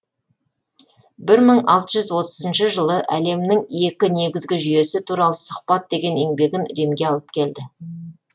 бір мың алты жүз отызыншы жылы әлемнің екі негізгі жүйесі туралы сұхбат деген еңбегін римге алып келді